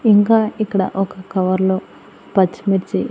ఇంకా ఇక్కడ ఒక కవర్లో పచ్చిమిర్చి--